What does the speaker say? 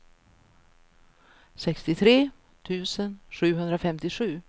sextiotre tusen sjuhundrafemtiosju